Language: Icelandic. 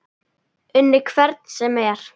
Unnið hvern sem er?